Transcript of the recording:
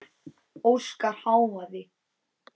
Óskar hváði.